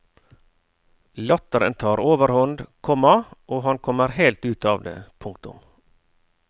Latteren tar overhånd, komma og han kommer helt ut av det. punktum